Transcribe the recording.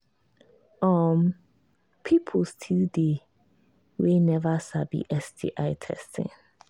um people still they we never sabi sti testing